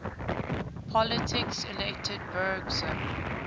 politiques elected bergson